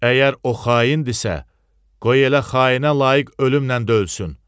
Əgər o xaindirsə, qoy elə xainə layiq ölümlə də ölsün.